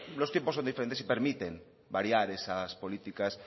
los tiempos son diferentes y permiten variar esas políticas